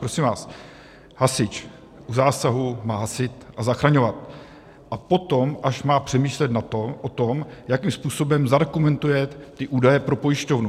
Prosím vás, hasič u zásahu má hasit a zachraňovat, a potom až má přemýšlet o tom, jakým způsobem zadokumentuje ty údaje pro pojišťovnu.